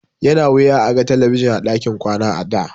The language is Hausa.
Yana wuya a ga talabijin a ɗakin kwana a da.